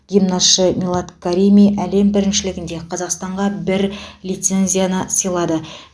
гимнастшы милад карими әлем біріншілігінде қазақстанға бір лицензияны сыйлады